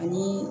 Ani